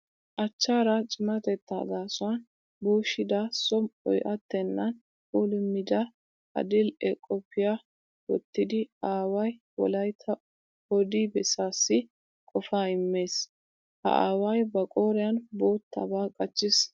Achchaara cimatettaa gaasuwan buushida som"oy attennan puulummida adil"e qophiya wottida aaway Wolaytta odi bessaassi qofaa immees. Ha aaway ba qooriyan boottaba qachchiis.